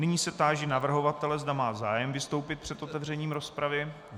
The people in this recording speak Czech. Nyní se táži navrhovatele, zda má zájem vystoupit před otevřením rozpravy.